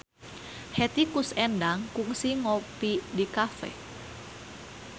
Hetty Koes Endang kungsi ngopi di cafe